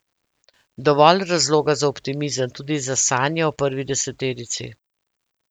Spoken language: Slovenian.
Dovolj razloga za optimizem, tudi za sanje o prvi deseterici.